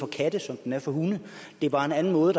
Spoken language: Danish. katte som med hunde det er bare en anden måde